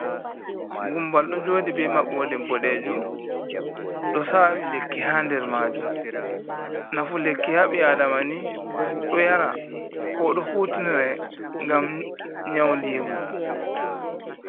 Gumbal ɗo joɗi be maɓode boɗejum, ɗo sawi lekki ha nɗer majum, nafu lekki haɓiadamani ɗo yara, ko ɗo hutinire ngam yaunɗigu.